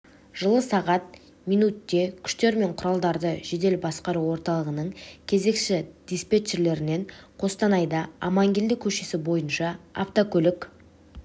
жылы сағат минутте күштер мен құралдарды жедел басқару орталығының кезекші диспетчерінен қостанайда амангелді көшесі бойынша автокөлік